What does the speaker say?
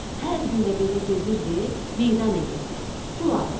Hər gün də belə gedirdi, meydan edirdi, pul alırdı.